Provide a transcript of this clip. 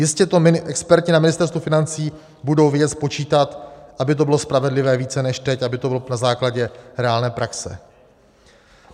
Jistě to experti na Ministerstvu financí budou vědět spočítat, aby to bylo spravedlivé více než teď, aby to bylo na základě reálné praxe.